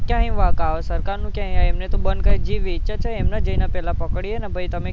તૈ વાંક આવે સરકારનો કે અહીંયા એમને તો બંધ વેચે છે એમને જઈને પેલા પકડીએ ને ભૈ તમે